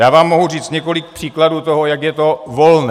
Já vám mohu říct několik příkladů toho, jak je to volné.